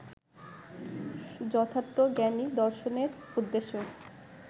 যথার্থ জ্ঞানই দর্শনের উদ্দেশ্য